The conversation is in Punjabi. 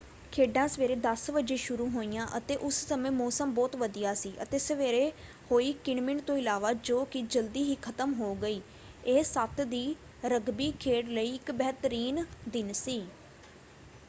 ਖੇਡਾਂ ਸਵੇਰੇ 10:00 ਵਜੇ ਸ਼ੁਰੂ ਹੋਈਆਂ ਅਤੇ ਉਸ ਸਮੇਂ ਮੌਸਮ ਬਹੁਤ ਵਧੀਆ ਸੀ ਅਤੇ ਸਵੇਰੇ ਹੋਈ ਕਿਣ-ਮਿਣ ਤੋਂ ਇਲਾਵਾ ਜੋ ਕਿ ਜਲਦੀ ਹੀ ਖਤਮ ਹੋ ਗਈ ਇਹ 7 ਦੀ ਰਗਬੀ ਖੇਡ ਲਈ ਇੱਕ ਬਿਹਤਰੀਨ ਦਿਨ ਸੀ।